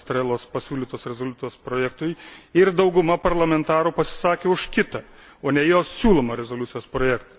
Estrelos pasiūlytos rezoliucijos projektui ir dauguma parlamentarų pasisakė už kitą, o ne jos siūlomą rezoliucijos projektą.